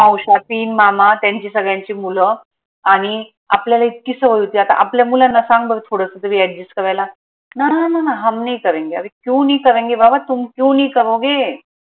मावश्या तीन मामा त्यांचे सगळ्यांचे मूल आनि आपल्याला इतकी सवय होती आता आपल्या मुलांना सांग बर थोडस तरी adjust करायला नानाmummaहमनहीकरेंगेअरेक्यूनहीकरेंगे? बाबातुमक्यूनहीकरोगे?